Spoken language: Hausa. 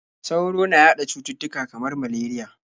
Sauro na yaɗa cututtuka kamar malariya.